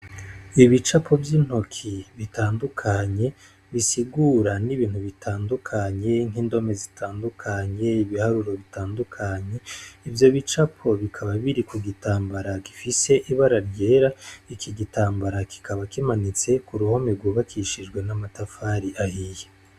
Ibicapo vy'intoki bitandukanye, bisigura n'ibintu bitandukanye, nk'indome zitandukanye, ibiharuro bitandukanye, ivyo bicapo bikaba biri ku gitambara gifise ibara ryera, iki gitambara kikaba kimanitse ku ruhome rwubakishijwe n'amatafari ahiye.